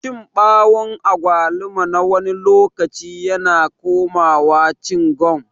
Cin bawun agwaluma nawani lokaci yana komawa cingam.